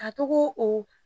A tɔgɔ o